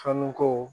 Fɔɔnɔ ko